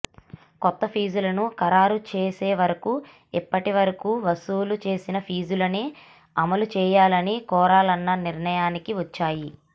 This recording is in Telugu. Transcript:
కొత్త ఫీజులను ఖరారు చేసేవరకు ఇప్పటివరకు వసూలు చేసిన ఫీజులనే అమలు చేయాలని కోరాలన్న నిర్ణయానికి వచ్చాయి